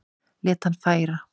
Lét hann færa